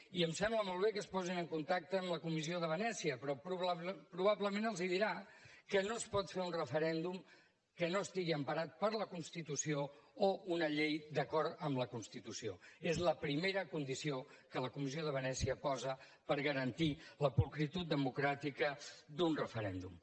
i em sembla molt bé que es posin en contacte amb la comissió de venècia però probablement els dirà que no es pot fer un referèndum que no estigui emparat per la constitució o una llei d’acord amb la constitució és la primera condició que la comissió de venècia posa per garantir la pulcritud democràtica d’un referèndum